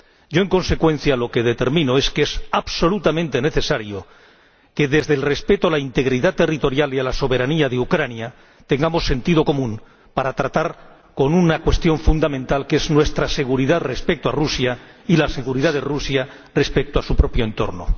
Yo, en consecuencia, considero que es absolutamente necesario que, desde el respeto a la integridad territorial y a la soberanía de Ucrania, tengamos sentido común para tratar una cuestión fundamental, que es nuestra seguridad respecto a Rusia y la seguridad de Rusia respecto a su propio entorno.